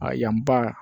A yan ba